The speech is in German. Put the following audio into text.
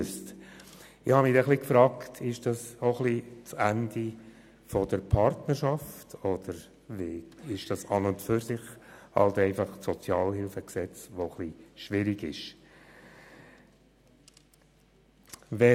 Ich habe mich gefragt, ob das das Ende der Partnerschaft ist oder ob das SHG an und für sich ein wenig schwierig ist.